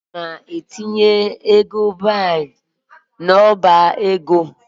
Aga m etinye ego paund n'ọba ego m.